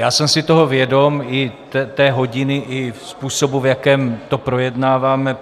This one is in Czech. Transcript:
Já jsem si toho vědom, i té hodiny a způsobu, v jakém to projednáváme.